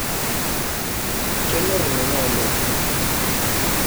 Kenyorr menye oleng